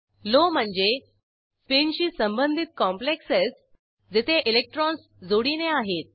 low म्हणजे स्पीनशी संबंधित कॉम्प्लेक्सेस जेथे इलेक्ट्रॉन्स जोडीने आहेत